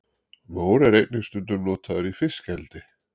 mór er einnig stundum notaður í fiskeldi